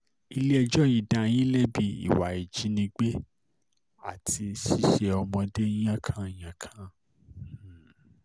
ilé-ẹjọ́ yìí dá yín lẹ́bi ìwà um ìjínigbé àti ṣíṣe ọmọdé yànkan-yànkan um